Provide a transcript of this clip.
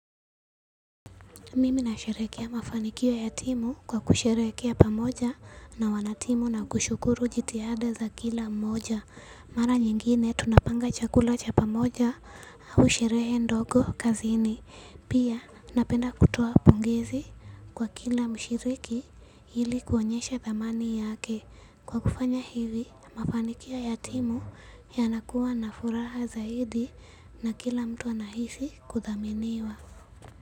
Mimi nasherehekea mafanikio ya timu kwa kisherehekea pamoja na wanatimu na kushukuru jitihada za kila mmoja. Mara nyingine tunapanga chakula cha pamoja au sherehe ndogo kazini. Pia napenda kutoa pongezi kwa kila mshiriki ili kuonyesha thamani yake. Kwa kufanya hivi mafanikio ya timu yanakuwa na furaha zaidi na kila mtu anahisi kuthaminiwa.